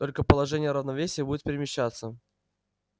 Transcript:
только положение равновесия будет перемещаться